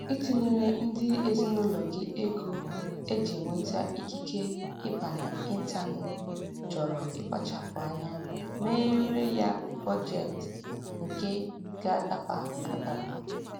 Itinyere ndị ezinụlọ gị ego eji enweta ikike ịba na ịntaneetị chọrọ ịkpachapụ anya meere ya bọjetị nke ga-adaba adaba